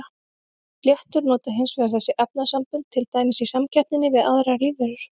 Fléttur nota hins vegar þessi efnasambönd til dæmis í samkeppninni við aðrar lífveru.